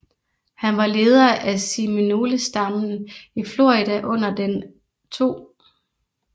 Han var leder af seminolestammen i Florida under den 2